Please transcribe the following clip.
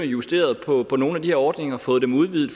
justeret på nogle af de her ordninger fået dem udvidet